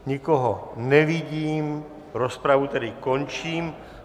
Nikoho nevidím, rozpravu tedy končím.